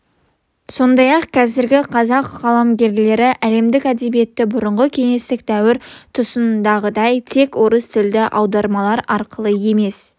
сондай-ақ қазіргі қазақ қаламгерлері әлемдік әдебиетті бұрынғы кеңестік дәуір тұсындағыдай тек орыс тілді аудармалар арқылы емес